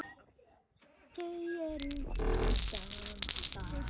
Þau eru að dansa